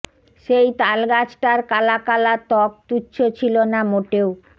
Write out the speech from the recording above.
সেই তালগাছটার কালা কালা ত্বক তুচ্ছ ছিল না মোটেও